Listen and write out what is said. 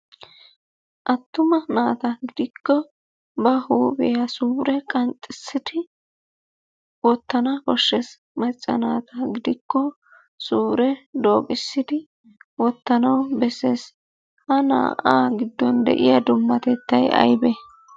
Attuma naata giddikko ba huuphiya suure qanxxissidi wottana koshshees, macca naata gidikko suure dooqissidi wottanawu bessees, ha naa'aa giddon de'iya dummatettay aybee?